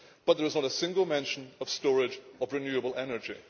But there is not a single mention of storage of renewable energy.